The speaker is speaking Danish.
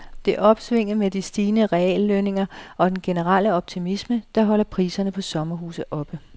Det er opsvinget med de stigende reallønninger og den generelle optimisme, der holder priserne på sommerhuse oppe.